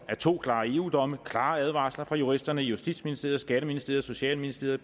af to klare eu domme klare advarsler fra juristerne i justitsministeriet skatteministeriet socialministeriet